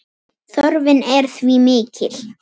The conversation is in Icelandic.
Þörfin er því mikil.